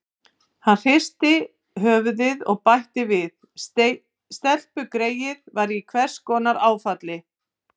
Hann hristi höfuðið og bætti við: Stelpugreyið var í einhvers konar áfalli.